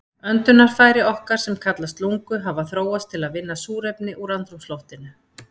Öndunarfæri okkar, sem kallast lungu, hafa þróast til að vinna súrefni úr andrúmsloftinu.